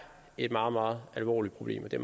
et meget meget alvorligt problem og det